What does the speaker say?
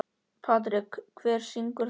Patrek, hver syngur þetta lag?